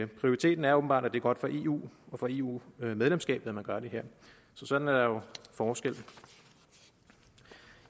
prioriteten er åbenbart at det er godt for eu og for eu medlemskabet at man gør det her så sådan er der jo forskel